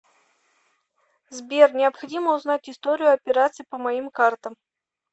сбер необходимо узнать историю операций по моим картам